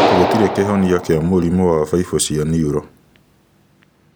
Gũtirĩ kĩhonia kĩa mũrimũ wa baibũ cia neural.